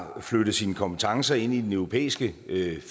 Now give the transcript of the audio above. har flyttet sine kompetencer ind i den europæiske